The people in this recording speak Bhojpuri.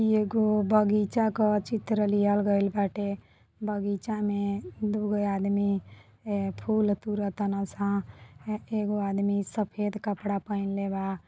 इ एगो बगीचा का चित्र लियहल गएल बाटे बगीचा में दुगो आदमी ए फूल तुर तारसन एगो आदमी सफेद कपड़ा पहेनले बा।